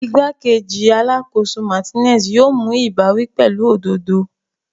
Igbakeji Alakoso Martinez yoo mu ibawi pẹlu ododo.